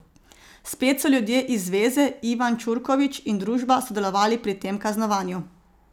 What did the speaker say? Spet so ljudje iz zveze, Ivan Čurković in družba, sodelovali pri tem kaznovanju.